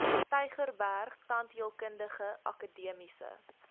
tygerberg tandheelkundige akademiese